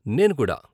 నేను కూడా .